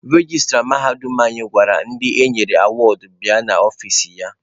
Rejistra mahadum anyị gwara ndị enyere awọọdụ bịa n'ọfici ya.